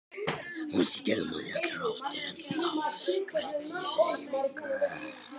Hún skimaði í allar áttir en sá hvergi hreyfingu.